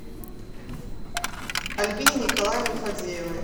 альбине николаевне фадеевой